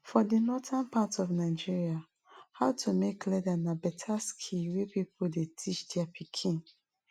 for the northern part of nigeria how to make leather na better skill wey people dey teach their pikin